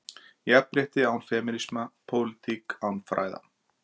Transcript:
Jafnrétti án femínisma, pólitík án fræða?